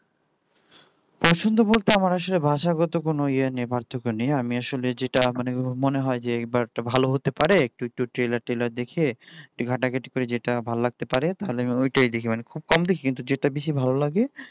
পছন্দ বলতে আমার আসলে ভাষাগত কোন ইয়ে নিয়ে পার্থক্য নেই আমি আসলে যেটা মানে মনে হয় যে এবার একটা ভালো হতে পারে একটু একটু trailer দেখে ভাল লাগতে পারে তাহলে আমি তাই দেখি খুব কম দেখি যেটা ভালো লাগে